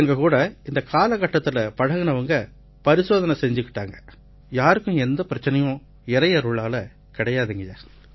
எங்ககூட இந்தக் காலகட்டத்தில பழகினவங்க பரிசோதனை செய்துக்கிட்டாங்க யாருக்கும் எந்தப் பிரச்சனையும் இறையருள்ல இல்லைய்யா